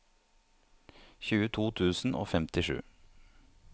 tjueto tusen og femtisju